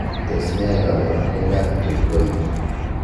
Tos nee koborunoikab Triploidy?